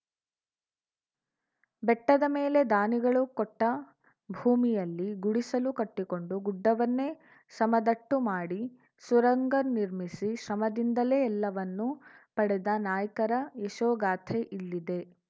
ಬೆಟ್ಟದ ಮೇಲೆ ದಾನಿಗಳು ಕೊಟ್ಟಭೂಮಿಯಲ್ಲಿ ಗುಡಿಸಲು ಕಟ್ಟಿಕೊಂಡು ಗುಡ್ಡವನ್ನೇ ಸಮದಟ್ಟು ಮಾಡಿ ಸುರಂಗ ನಿರ್ಮಿಸಿ ಶ್ರಮದಿಂದಲೇ ಎಲ್ಲವನ್ನೂ ಪಡೆದ ನಾಯ್ಕರ ಯಶೋಗಾಥೆ ಇಲ್ಲಿದೆ